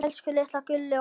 Elsku litla gullið okkar.